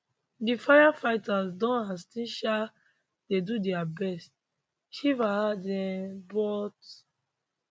di firefighters don and still um dey do dia best shriver add um but